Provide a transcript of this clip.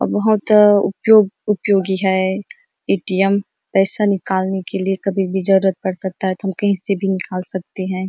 और बहुत अ उपयोग उपयोगी है ए.टी.एम पैसा निकलने के लिए कभी भी जरुरत पड़ सकता है तो हम कहीं से भी निकाल सकते हैं।